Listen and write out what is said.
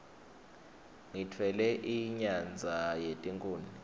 ngitfwele inyadza yetikhuni